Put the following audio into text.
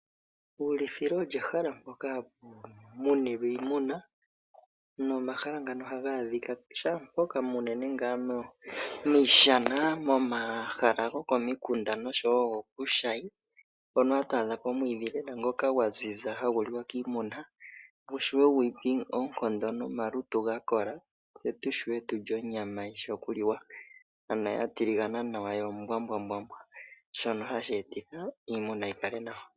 Uuulithilo olyo ehala mpoka hapu munilwa iimuna. Nomahala ngano ohaga adhika shaampoka unene ngaa miishana, momahala gokomikunda noshowo gokuushayi, hono hatu adha ko omwiidhi lela ngoka gwa ziza, hagu liwa kiimuna oshowo gwiipe oonkondo nomalutu ga kola, tse tu shi vule tulye onyama, yishi oku liwa. Ano ya tiligana nawa, yo ombwaanawa, shono hashi etitha iimuna yi kale nawa.